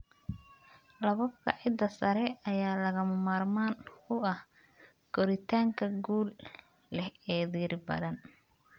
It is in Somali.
Lakabka ciidda sare ayaa lagama maarmaan u ah koritaanka guul leh ee dhir badan.